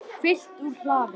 Fylgt úr hlaði